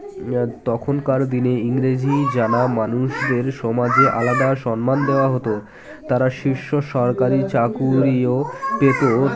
তখনকার দিনে ইংরেজি জানা মানুষদের সমাজে আলাদা সন্মান দেওয়া হতো তারা শীর্ষ সরকারি চাকুরীও পেতো ও